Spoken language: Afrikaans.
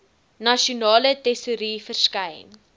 nasionale tesourie verskyn